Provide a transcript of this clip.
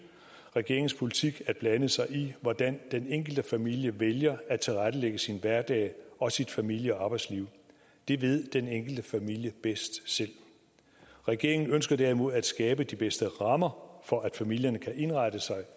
regeringens politik at blande sig i hvordan den enkelte familie vælger at tilrettelægge sin hverdag og sit familie og arbejdsliv det ved den enkelte familie bedst selv regeringen ønsker derimod at skabe de bedste rammer for at familierne kan indrette sig